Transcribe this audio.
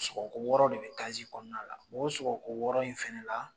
Sɔgɔ wɔɔrɔ de bɛ kɔnɔna la o sɔgɔko wɔɔrɔ in fana la.